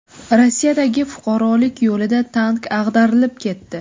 Rossiyadagi fuqarolik yo‘lida tank ag‘darilib ketdi.